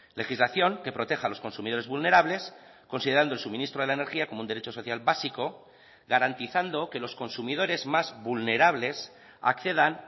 legislación que proteja a los consumidores vulnerables considerando el suministro de la energía como un derecho social básico garantizando que los consumidores más vulnerables accedan